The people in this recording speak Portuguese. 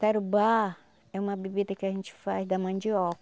Tarubá é uma bebida que a gente faz da